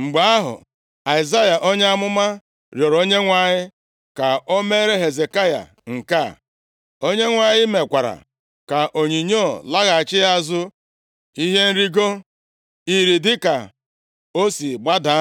Mgbe ahụ, Aịzaya, onye amụma rịọrọ Onyenwe anyị ka o meere Hezekaya nke a. Onyenwe anyị mekwara ka onyinyo laghachi azụ ihe nrigo iri dịka o si gbada